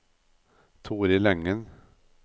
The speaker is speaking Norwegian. Toril Engen